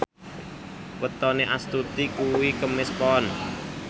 wetone Astuti kuwi Kemis Pon